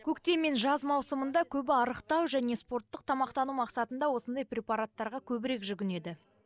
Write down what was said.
көктем мен жаз маусымында көбі арықтау және спорттық тамақтану мақсатында осындай препараттарға көбірек жүгінеді